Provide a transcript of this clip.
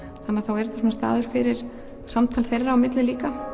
þannig að þá er þetta svona staður fyrir samtal þeirra á milli líka